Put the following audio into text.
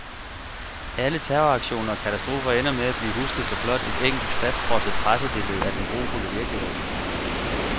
Alle terroraktioner og katastrofer ender med at blive husket for blot et enkelt fastfrosset pressebille af den grufulde virkelighed.